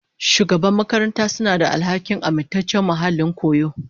Shugaban makaranta suna da alhakin amintaccen muhallin koyo.